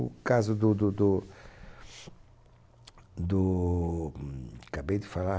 O caso do do do, do... acabei de falar...